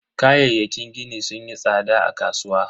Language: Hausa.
Kayayyakin gini sunyi tsada a kasuwa.